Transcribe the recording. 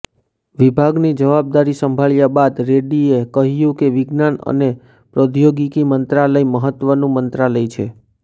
વિભાગની જવાબદારી સંભાળ્યા બાદ રેડ્ડીએ કહ્યું કે વિજ્ઞાન અને પ્રૌદ્યોગિકી મંત્રાલય મહત્વનું મંત્રાલય છે